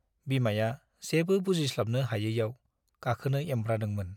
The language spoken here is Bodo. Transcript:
बिमाया जेबो बुजिस्लाबनो हायैआव गाखोनो एंब्रादोंमोन ।